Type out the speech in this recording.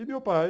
E meu pai?